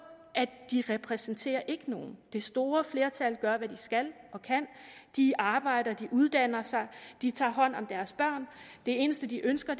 at de ikke repræsenterer nogen det store flertal gør hvad de skal og kan de arbejder de uddanner sig de tager hånd om deres børn det eneste de ønsker